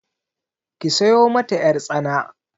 Ki sayo mata ƴartsana.